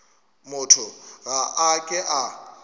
motho ga a ke a